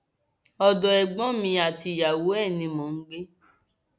ọdọ ẹgbọn mi àtìyàwó ẹ ni mò ń gbé